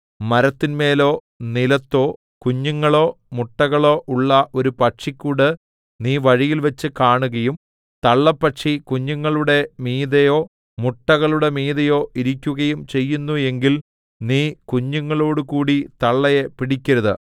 മരത്തിന്മേലോ നിലത്തോ കുഞ്ഞുങ്ങളോ മുട്ടകളോ ഉള്ള ഒരു പക്ഷിക്കൂട് നീ വഴിയിൽവച്ച് കാണുകയും തള്ളപ്പക്ഷി കുഞ്ഞുങ്ങളുടെ മീതെയോ മുട്ടകളുടെ മീതെയോ ഇരിക്കുകയും ചെയ്യുന്നു എങ്കിൽ നീ കുഞ്ഞുങ്ങളോടുകൂടി തള്ളയെ പിടിക്കരുത്